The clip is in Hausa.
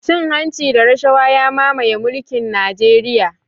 Cin hanci da rashawa ya mamaye mulkin najeriya